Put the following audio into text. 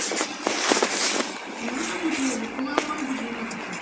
ମୁଁ ତ ବୁଝିଗଲି ତୁ ଆଉ କଣ ବୁଝିବୁ ମତେ କହ